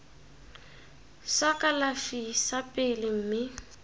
sa kalafi sa pele mme